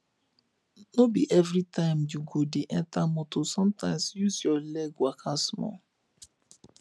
no be everytime you go de enter motor sometimes use your leg waka small